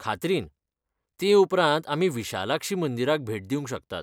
खात्रीन, ते उपरांत आमी विशालाक्षी मंदिराक भेट दिवंक शकतात.